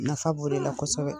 Nafa b' o de la kosɛbɛ